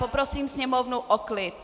Poprosím sněmovnu o klid.